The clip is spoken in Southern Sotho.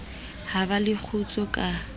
ha ba le kgutso ka